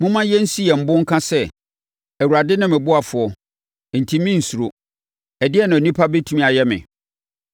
Momma yɛnsi yɛn bo nka sɛ, “Awurade ne me ɔboafoɔ, enti merensuro. Ɛdeɛn na onipa bɛtumi ayɛ me?”